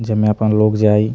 जेमे अपन लोग जाई।